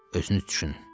Özünüz düşünün.